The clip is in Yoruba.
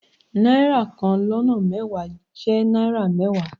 Náírà kan lọ́nà mẹ́wàá jẹ́ náírà mẹ́wàá.